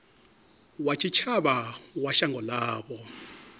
wa tshitshavha wa shango ḽavho